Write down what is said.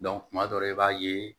kuma dɔ la i b'a ye